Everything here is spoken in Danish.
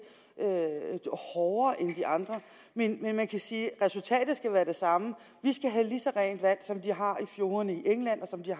hårdere end for de andre men man kan sige at resultatet skal være det samme vi skal have lige så rent vand som de har i fjordene i england